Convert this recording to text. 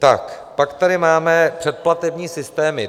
Pak tady máme předplatební systémy.